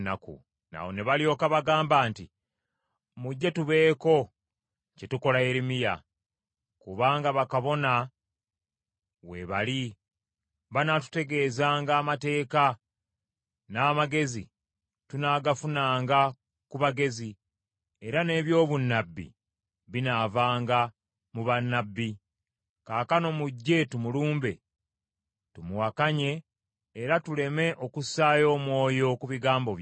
Awo ne balyoka bagamba nti, “Mujje tubeeko kye tukola Yeremiya. Kubanga bakabona weebali banaatutegeezanga amateeka, n’amagezi tunaagafunanga ku bagezi, era n’ebyobunnabbi binaavanga mu bannabbi. Kaakano mujje tumulumbe tumuwakanye era tuleme okussaayo omwoyo ku bigambo bye.”